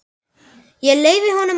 Ég leyfi honum að vinna.